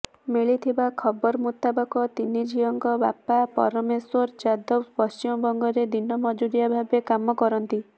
ମିଳିଥିବା ଖବର ମୁତାବକ ତିନି ଝିଅଙ୍କ ବାପା ପରମେଶ୍ୱର ଯାଦବ ପଶ୍ଚିମବଙ୍ଗରେ ଦିନ ମଜୁରିଆ ଭାବେ କାମ କରନ୍ତି